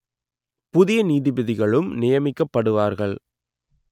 புதிய நீதிபதிகளும் நியமிக்கப்படுவார்கள்